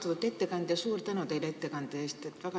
Austatud ettekandja, suur tänu teile ettekande eest!